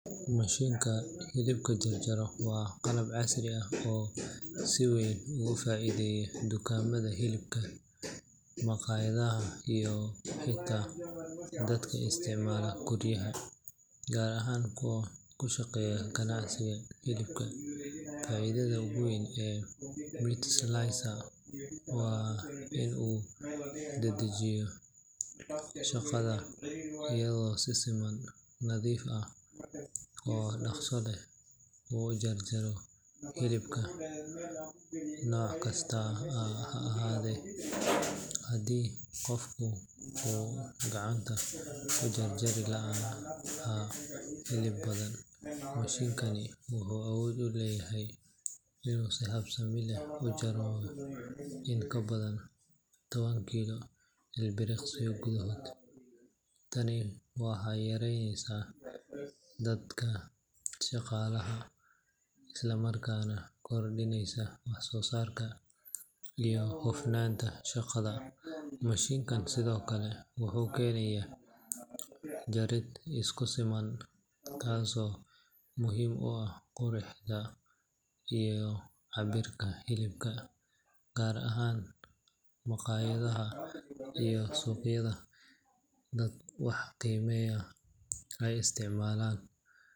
Mashinka hilibka jarjaro waa qalab casri ah oo si weyn ugu faa’iideeya dukaamada hilibka, maqaayadaha, iyo xitaa dadka isticmaala guryaha, gaar ahaan kuwa ku shaqeeya ganacsiga hilibka. Faa’iidada ugu weyn ee meat slicer waa in uu dedejiyo shaqada iyadoo si siman, nadiif ah oo dhaqso leh uu u jarjaro hilibka nooc kasta ha ahaadee. Halkii qofku uu gacanta ku jarjari lahaa hilib badan, mashinkani wuxuu awood u leeyahay inuu si habeysan u gooyo in ka badan toban kiilo ilbiriqsiyo gudahood. Tani waxay yareyneysaa daalka shaqaalaha, isla markaana kordhineysa wax-soo-saarka iyo hufnaanta shaqada. Mashinka sidoo kale wuxuu keenayaa jarid isku siman, taasoo muhiim u ah quruxda iyo cabbirka hilibka, gaar ahaan maqaayadaha iyo suuqyada dadka wax qiimeeya ay isticmaalaan.